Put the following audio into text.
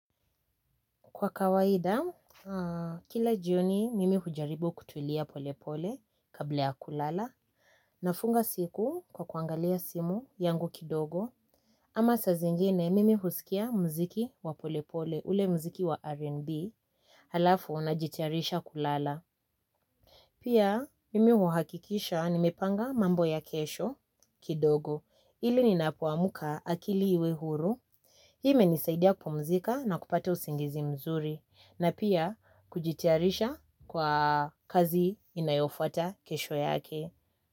Kwa kawaida, kila jioni mimi hujaribu kutulia polepole kabla ya kulala, nafunga siku kwa kuangalia simu yangu kidogo, ama sa zingine mimi husikia mziki wa polepole ule mziki wa R&B, halafu najitiarisha kulala. Pia mimi huhakikisha nimepanga mambo ya kesho kidogo ili ninapoamka akili iwe huru. Hii imenisaidia kupumzika na kupata usingizi mzuri na pia kujitayarisha kwa kazi inayofuata kesho yake.